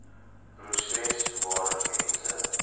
proses waarin mense